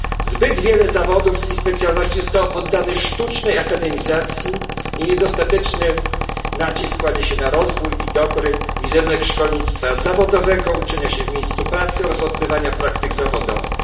Zbyt wiele zawodów i specjalności zostało poddanych sztucznej akademizacji i niedostateczny nacisk kładzie się na rozwój i dobry wizerunek szkolnictwa zawodowego, uczenia się w miejscu pracy oraz odbywania praktyk zawodowych.